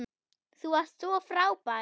Þú varst svo frábær.